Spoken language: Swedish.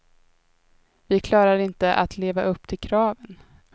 Vi klarar inte att leva upp till kraven.